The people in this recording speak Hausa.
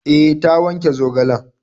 E, ta wanke zogalen.